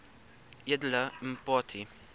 edele mpati